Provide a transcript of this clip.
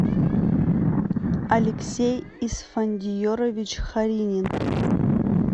алексей исфандиерович харинин